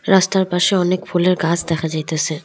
রাস্তার পাশে অনেক ফুলের গাছ দেখা যাইতাসে।